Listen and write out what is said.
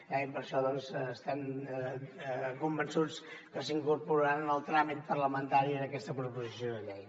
i per això estem convençuts que s’incorporaran en el tràmit parlamentari d’aquesta proposició de llei